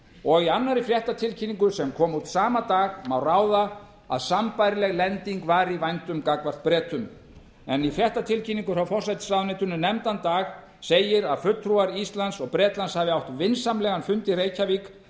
og í annarri fréttatilkynningu sem kom út sama dag má ráða að sambærileg lending var í vændum gagnvart bretum en í fréttatilkynningu frá forsætisráðuneytinu nefnda dag segir að fulltrúar íslands og bretlands hafi átt vinsamlegan fund í reykjavík